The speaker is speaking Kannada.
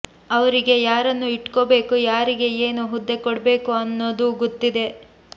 ಅವ್ರಿಗೆ ಯಾರನ್ನು ಇಟ್ಕೋಬೇಕು ಯಾರಿಗೆ ಏನು ಹುದ್ದೆ ಕೊಡಬೇಕು ಅನ್ನೋ ದು ಗೊತ್ತಿದೆ